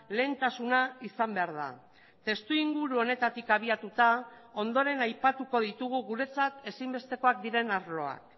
lehentasuna izan behar da testu inguru honetatik abiatuta ondoren aipatuko ditugu guretzat ezinbestekoak diren arloak